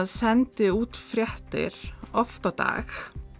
sendi út fréttir oft á dag